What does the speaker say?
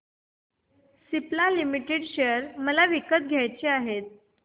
Cipla limited share मला विकत घ्यायचे आहेत